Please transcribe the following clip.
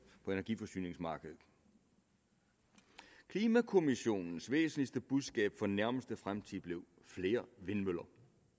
på energiforsyningsmarkedet klimakommissionens væsentligste budskab for den nærmeste fremtid blev flere vindmøller